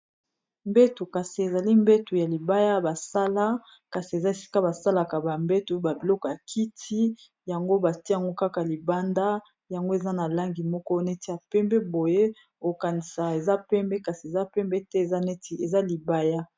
Mbeto kasi ezali mbeto ya libaya basala kasi eza esika basalaka bambeto babiloko ya kiti yango batiango kaka libanda yango eza na langi moko neti ya pembe, boye okanisa eza pembe kasi eza pembe te eza neti eza libaya.